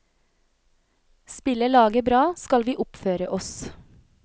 Spiller laget bra, skal vi oppføre oss.